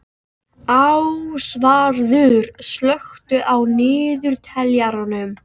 Ásvarður, slökktu á niðurteljaranum.